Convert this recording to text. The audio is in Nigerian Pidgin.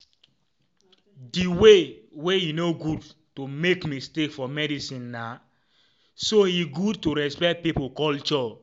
the way wey e no good to make mistake for medicinena so e good to respect pipo culture.